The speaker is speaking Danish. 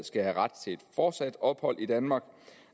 skal have ret til fortsat ophold i danmark